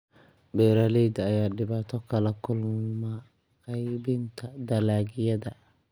Beeraleyda ayaa dhibaato kala kulma qeybinta dalagyada.